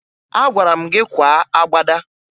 Agwara m gị kwaa agbada!